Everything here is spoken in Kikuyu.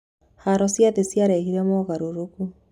Haro cia thĩ ciarehire mogarũrũku.